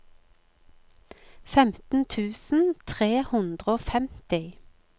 femten tusen tre hundre og femti